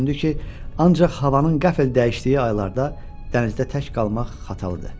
Düşündü ki, ancaq havanın qəfl dəyişdiyi aylarda dənizdə tək qalmaq xatalıdır.